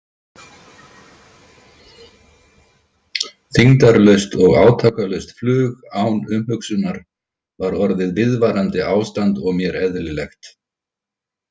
Þyngdarlaust og átakalaust flug án umhugsunar var orðið viðvarandi ástand og mér eðlilegt.